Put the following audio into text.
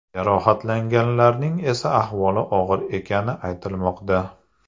Jarohatlanganlarning esa ahvoli og‘ir ekani aytilmoqda.